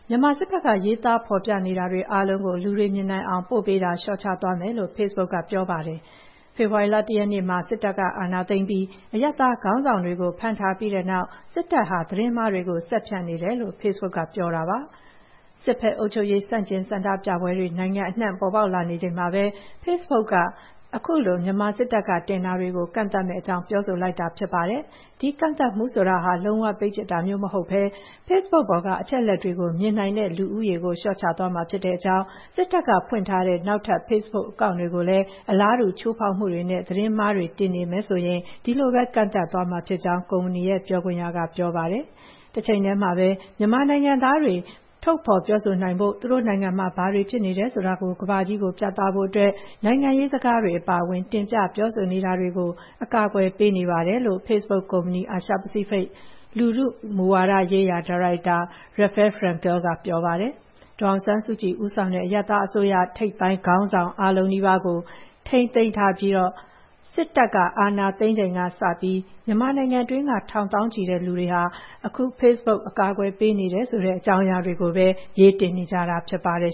မြန်မာစစ်ဘက်က ရေးသားဖော်ပြတာတွေအားလုံးကို လူတွေမြင်နိုင်အောင် ပို့ပေးတာ လျှော့ချသွားမယ်လို့ Facebook ကပြောပါတယ်။ ဖေဖော်ဝါရီလ ၁ ရက်နေ့မှာ စစ်တပ်က အာဏာသိမ်းပြီး အရပ်သားခေါင်းဆောင်တွေကို ဖမ်းထားပြီးတဲ့နောက် စစ်တပ်ဟာ "သတင်းမှားတွေကို ဆက်ဖြန့်နေတယ်။" လို့ Facebook ကပြောပါတယ်။ စစ်ဘက်အုပ်ချုပ်ရေး ဆန့်ကျင် ဆန္ဒဆန္ဒပြပွဲတွေ နိုင်ငံအနှံ့ ပေါ်ပေါက်နေချိန်မှာပဲ Facebook က ခုလို မြန်မာစစ်တပ်က တင်တာတွေကို ကန့်သတ်မယ့်အကြောင်း ပြောဆိုလိုက်တာပါ။ ဒီကန့်သတ်မှုဆိုတာဟာ လုံးဝပိတ်ပစ်တာမျိုး မဟုတ်ဘဲ ဖေ့စ်ဘုတ်ပေါ်က အချက်အလက်တွေကို မြင်နိုင်တဲ့လူဦးရေကိုလျှော့ချသွားမှာ ဖြစ်ကြောင်း၊ စစ်တပ်က ဖွင့်ထားတဲ့ နောက်ထပ် ဖေ့စ်ဘုတ်အကောင့်တွေလည်း အလားတူ ချိုးဖောက်မှုတွေနဲ့ သတင်းမှားတွေ တင်နေမယ်ဆိုရင် ဒီလိုပဲ ကန့်သတ်သွားမှာဖြစ်ကြောင်း ကုမ္ပဏီရဲ့ ပြောခွင့်ရက ပြောပါတယ်။ "တချိန်တည်းမှာပဲ မြန်မာနိုင်ငံသားတွေ ထုတ်ဖော်ပြောဆိုနိုင်ဖို့၊ သူတို့နိုင်ငံမှာ ဘာတွေဖြစ်နေတယ်ဆိုတာ ကမ္ဘာကြီးကိုပြသဖို့အတွက် နိုင်ငံရေးစကားတွေအပါအဝင် တင်ပြပြောဆိုတာတွေကို အကာအကွယ်ပေးနေပါတယ်။" လို့ဖေ့စ်ဘုတ်ကုမ္ပဏီ၊ အာရှပစိဖိတ် လူထုမူဝါဒရေးရာ ဒါရိုက်တာ Rafael Frankel က ပြောပါတယ်။ ဒေါ်အောင်ဆန်းစုကြည်ဦးဆောင်တဲ့ အရပ်သားအစိုးရ ထိပ်ပိုင်းခေါင်းဆောင် အားလုံးနီးပါးကို ထိန်းသိမ်းထားပြီး စစ်တပ်က အာဏာသိမ်းချိန်ကစပြီး မြန်မာပြည်တွင်းက ထောင်သောင်းချီတဲ့လူတွေဟာ အခု Facebook အကာအကွယ်ပေးနေတယ်ဆိုတဲ့ အကြောင်းအရာတွေကိုပဲ ရေးတင်နေကြတာဖြစ်ပါတယ်